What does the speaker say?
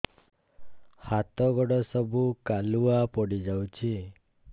ହାତ ଗୋଡ ସବୁ କାଲୁଆ ପଡି ଯାଉଛି